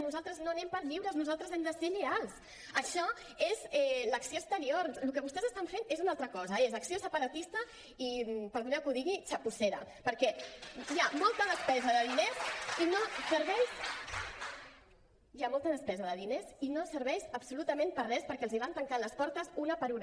nosaltres no anem per lliures nosaltres hem de ser lleials això és l’acció exterior el que vostès estan fent és una altra cosa és acció separatista i perdoneu que ho digui txapussera perquè hi ha molta despesa de diners i no serveix absolutament per a res perquè els van tancant les portes una per una